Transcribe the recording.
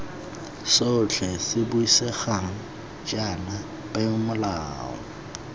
sotlhe se buisegang jaana peomolao